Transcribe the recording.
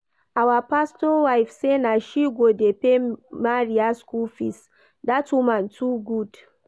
Our pastor wife say na she go dey pay Maria school fees, that woman too good